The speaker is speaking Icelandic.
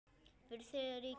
Fyrir Þriðja ríkið.